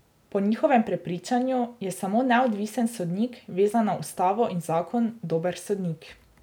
Po njihovem prepričanju je samo neodvisen sodnik, vezan na ustavo in zakon, dober sodnik.